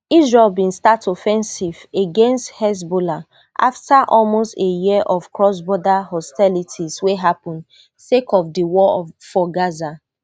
israel bin start offensive against hezbollah afta almost a year of crossborder hostilities wey happun sake of di war for gaza